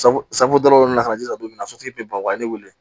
dɔ nana ka na jija min na sotigi bɛ ban o ye ne wele